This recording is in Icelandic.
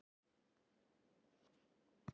Já Nei